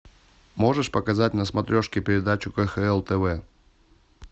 можешь показать на смотрешке передачу кхл тв